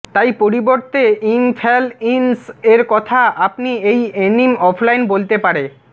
তাই পরিবর্তে ইম ফ্যাল ইইনস এর কথা আপনি বেই এনিম অফলাইন বলতে পারে